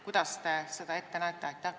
Kuidas see on ette nähtud?